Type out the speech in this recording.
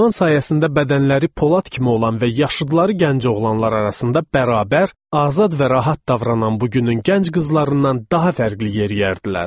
İdman sayəsində bədənləri polad kimi olan və yaşıdları gənc oğlanlar arasında bərabər, azad və rahat davranan bugünün gənc qızlarından daha fərqli yeriyərdilər.